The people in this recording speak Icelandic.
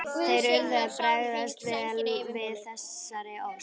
Þeir urðu að bregðast vel við þessari ósk.